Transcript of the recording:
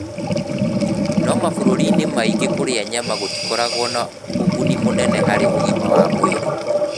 No mabũrũri-inĩ maingĩ kũrĩa nyama gũtikoragwo na ũguni mũnene harĩ ũgima wa mwĩrĩ.